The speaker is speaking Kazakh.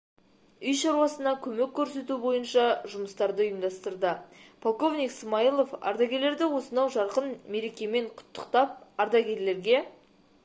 үй шаруасына көмек көрсету бойынша жұмыстарды ұйымдастырды полковник смаилов ардагерлерді осынау жарқын мерекемен құттықтап ардагерлерге